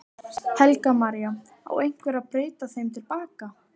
Helga María: Á eitthvað að breyta þeim til baka?